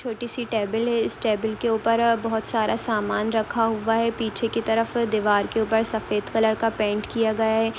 छोटी सी टेबल है इस टेबल के ऊपर अ बोहत सारा सामान रखा हुवा है। पीछे की तरफ दीवार की ऊपर सफ़ेद कलर का पेन्ट किया गया है।